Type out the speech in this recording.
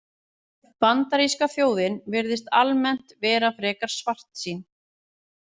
Bandaríska þjóðin virðist almennt vera frekar svartsýn.